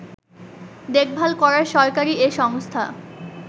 দেখভাল করার সরকারী এ সংস্থা